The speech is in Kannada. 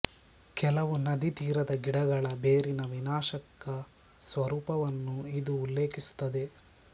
ಕೆಲವು ನದಿ ತೀರದ ಗಿಡಗಳ ಬೇರಿನ ವಿನಾಶಕ ಸ್ವರೂಪವನ್ನು ಇದು ಉಲ್ಲೇಖಿಸುತ್ತದೆ